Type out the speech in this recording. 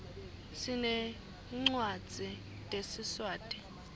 sinetncwadzi tesiswati